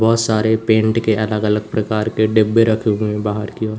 बहोत सारे पेंट के अलग अलग प्रकार के डिब्बे रखे हुए बाहर की ओर।